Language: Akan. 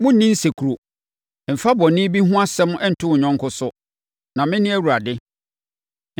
“ ‘Monnni nsekuro. “ ‘Mfa bɔne bi ho asɛm nto wo yɔnko so, na mene Awurade.